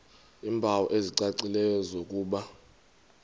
iimpawu ezicacileyo zokuba